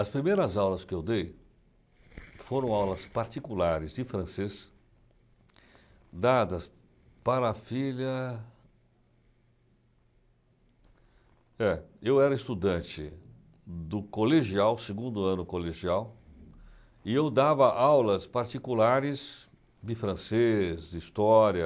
As primeiras aulas que eu dei foram aulas particulares de francês dadas para a filha... É, eu era estudante do colegial, segundo ano, colegial, e eu dava aulas particulares de francês, de história,